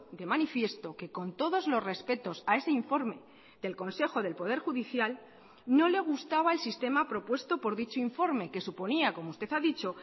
de manifiesto que con todos los respetos a ese informe del consejo del poder judicial no le gustaba el sistema propuesto por dicho informe que suponía como usted ha dicho